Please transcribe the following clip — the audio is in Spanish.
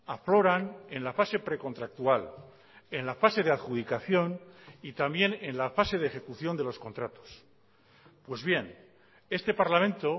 afloran en la fase precontractual en la fase de adjudicación y también en la fase de ejecución de los contratos pues bien este parlamento